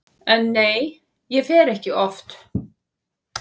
En nei, ég fer ekki oft.